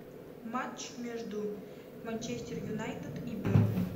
матч между манчестер юнайтед и бернли